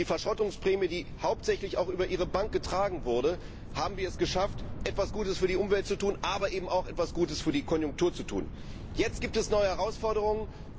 Durch die Verschrottungsprämie, die hauptsächlich auch über Ihre Bank getragen wurde, haben wir es geschafft, etwas Gutes für die Umwelt, aber eben auch etwas Gutes für die Konjunktur zu tun. Jetzt gibt es neue Herausforderungen.